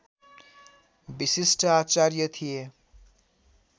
विशिष्ट आचार्य थिए